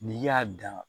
N'i y'a dan